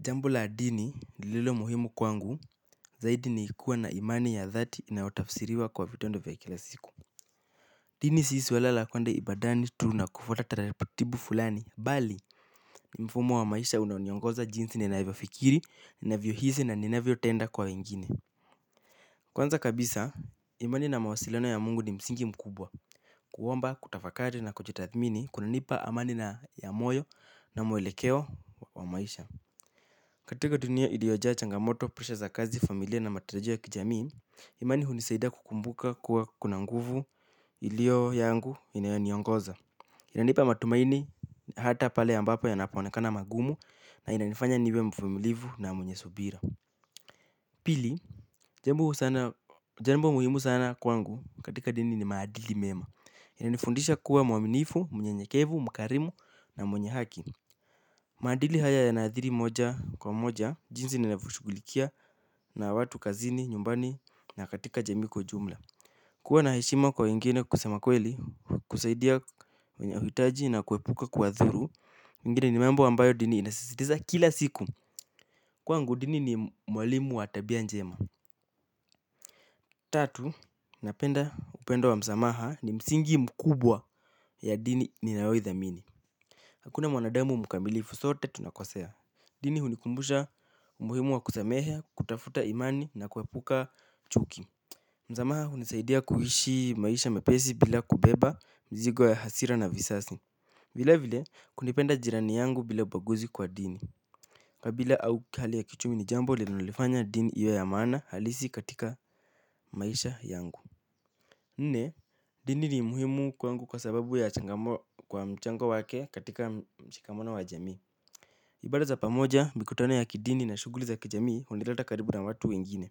Jambo la dini lililo muhimu kwangu zaidi ni kuwa na imani ya dhati inayotafsiriwa kwa vitendo vya kila siku. Dini si swala la kuenda ibadani tu nakufuata taratibu fulani. Bali, mfumo wa maisha unaoniongoza jinsi ninavyo fikiri, ninavyo hisi na ninavyo tenda kwa wengine. Kwanza kabisa, imani na mawasiliano ya mungu ni msingi mkubwa. Kuomba, kutafakari na kujitathmini, kuna nipa amani na ya moyo na mwelekeo wa maisha. Katika dunia ilio jaa changamoto, presha za kazi, familia na matarajio ya kijamii, imani hunisaida kukumbuka kuwa kuna nguvu ilio yangu inayoniongoza. Inanipa matumaini hata pale ambapo yanapoonekana magumu na inanifanya niwe mvumilivu na mwenye subira. Pili, jambo muhimu sana kwangu katika dini ni maadili mema. Inanifundisha kuwa mwaminifu, mnyenyekevu, mkarimu na mwenye haki. Maadili haya yanaathiri moja kwa moja, jinsi ninavyoshughulikia na watu kazini, nyumbani, na katika jamii kwa ujumla. Kuwa na heshima kwa wengine kusema kweli, kusaidia kwenye hitaji na kuepuka kuwadhuru mengine ni mambo ambayo dini inasisitiza kila siku. Kwangu dini ni mwalimu wa tabia njema. Tatu, napenda upendo wa msamaha ni msingi mkubwa ya dini ninayoithamini. Hakuna mwanadamu mkamilifu, sote tunakosea. Dini hunikumbusha umuhimu wa kusamehe, kutafuta imani na kuepuka chuki. Msamaha hunisaidia kuishi maisha mwepesi bila kubeba mzigo ya hasira na visasi. Vile vile kunipenda jirani yangu bila ubaguzi kwa dini. Kabila au hali ya kiuchumi ni jambo linanolifanya dini iwe ya maana halisi katika maisha yangu. Nne, dini ni umuhimu kwangu kwa sababu ya changamoto kwa mchango wake katika mshikamano wa jamii. Ibada za pamoja mikutano ya kidini na shughuli za kijamii hunileta karibu na watu wengine.